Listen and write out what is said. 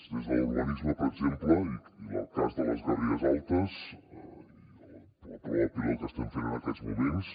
des de l’urbanisme per exemple i en el cas de les garrigues altes i la prova pilot que estem fent en aquests moments